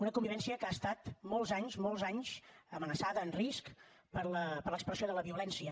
una convivència que ha estat molts anys molts anys amenaçada en risc per l’expressió de la violència